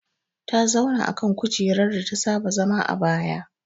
Ta zauna akan kujerar data saba zama a baya